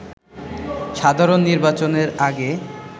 সাধারণ নির্বাচনের আগে